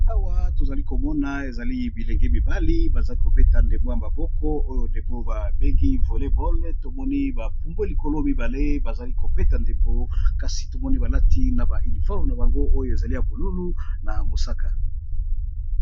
Awa tozali komona ezali bilenge mibali bazali kobeta ndembo ya maboko oyo ndembo ba bengi voley bol tomoni ba pumbwe likolo mibale bazali kobeta ndembo kasi tomoni balati na ba uniforme na bango oyo ezali ya bolulu na mosaka.